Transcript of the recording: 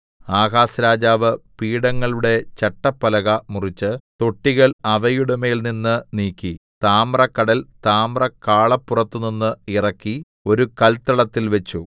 Ahaz രാജാവ് പീഠങ്ങളുടെ ചട്ടപ്പലക മുറിച്ച് തൊട്ടികൾ അവയുടെമേൽനിന്ന് നീക്കി താമ്രക്കടൽ താമ്രക്കാളപ്പുറത്തുനിന്ന് ഇറക്കി ഒരു കല്ത്തളത്തിൽ വെച്ചു